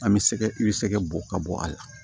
An bɛ sɛgɛ i bɛ sɛgɛ bɔ ka bɔ a la